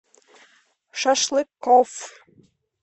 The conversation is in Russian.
шашлыкоф